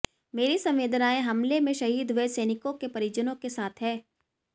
मेरी संवेदनाएं हमले में शहीद हुए सैनिकों के परिजनों के साथ हैं